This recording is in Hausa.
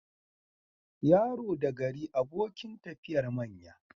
Yaro da gari abokin tafiyar manya.